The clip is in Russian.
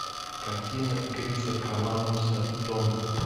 картина криса коламбуса дом